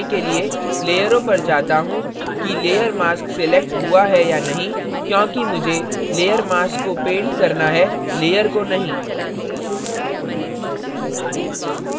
और मैं पुनः यह जांच करने के लिए लेयरों पर जाता हूँ कि layer mask selected हुआ है या नहीं क्योंकि मुझे layer mask को paint करना है layer को नहीं